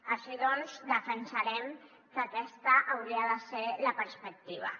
així doncs defensarem que aquesta hauria de ser la perspectiva